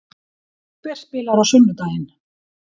Hver spilar á sunnudaginn?